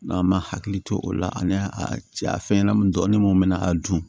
an ma hakili to o la ani a fɛnɲɛnɛmanin dɔɔnin mun bɛ na a dun